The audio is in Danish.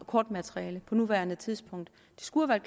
kortmateriale på nuværende tidspunkt det skulle have